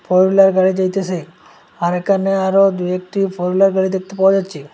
Four wheeler গুলা যাইতাসে আর এখানে আরো দু একটি ফোর হুইলার গাড়ি দেখতে পাওয়া যাচ্চে ।